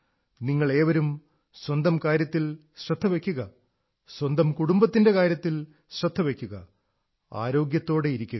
നിങ്ങളേവരും സ്വന്തം കാര്യത്തിൽ ശ്രദ്ധ വയ്ക്കുക സ്വന്തം കുടുംബത്തിന്റെ കാര്യത്തിൽ ശ്രദ്ധ വയ്ക്കുക ആരോഗ്യത്തോടെ ഇരിക്കുക